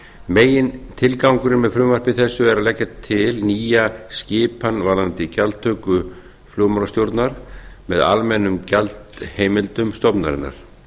megintilgangurinn með frumvarpi þessu er að leggja til nýja skipan varðandi gjaldtöku flugmálastjórnar með almennum gjaldaheimildum stofnunarinnar